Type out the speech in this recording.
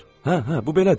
Hə, hə, bu belədir.